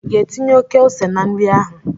I ga-etinye oke ose na nri ahụ?